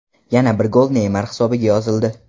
Yana bir gol Neymar hisobiga yozildi.